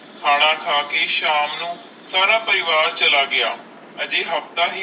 ਖਾਣਾ ਖਾ ਕੇ ਸ਼ਾਮ ਨੂੰ ਸਾਰਾ ਪਰਿਵਾਰ ਚਲਾ ਗਯਾ ਅਜੇ ਹਫਤਾ ਹੈ